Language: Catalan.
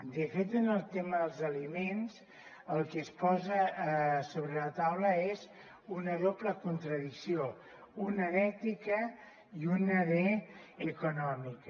de fet en el tema dels aliments el que es posa sobre la taula és una doble contradicció una d’ètica i una d’econòmica